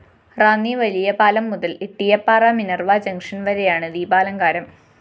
റാന്നി വലിയപാലം മുതല്‍ Ittiyappara Minerva junction‍ വരെയാണ് ദീപാലങ്കാരം